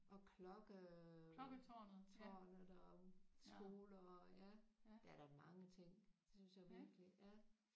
Og klokke tårnet og skoler og ja der er da mange ting det synes jeg virkelig ja